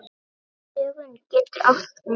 Dögun getur átt við